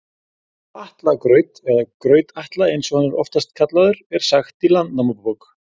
Frá Atla graut, eða Graut-Atla eins og hann er oftast kallaður, er sagt í Landnámabók.